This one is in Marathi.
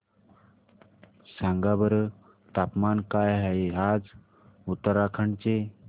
सांगा बरं तापमान काय आहे आज उत्तराखंड चे